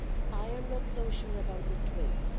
I am not so sure about twins.